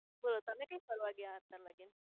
બોલો તમે કઈ ફરવા ગયા હતા? મેગેન